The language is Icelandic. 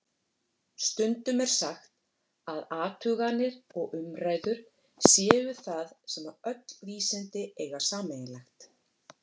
Stundum er sagt að athuganir og umræður séu það sem öll vísindi eiga sameiginlegt.